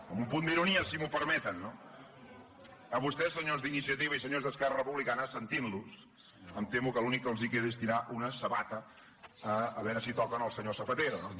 amb un punt d’ironia si m’ho permeten no a vostès senyors d’iniciativa i senyors d’esquerra republicana sentint los em temo que l’únic que els queda és tirar una sabata a veure si toquen el senyor zapatero no